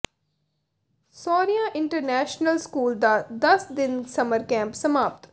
Shaurya international school ਦਾ ਦੱਸ ਦਿਨਾ ਸਮਰ ਕੈਂਪ ਸਮਾਪਤ